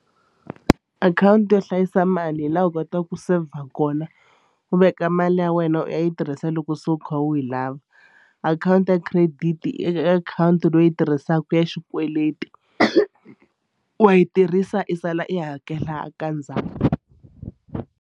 Akhawunti yo hlayisa mali hi laha u kotaka ku saver kona u veka mali ya wena u ya yi tirhisa loko se u kha u yi lava. Akhawunti ya credit i akhawunti leyi tirhisaka ya xikweleti wa yi tirhisa i sala i hakela ka ndzhaku.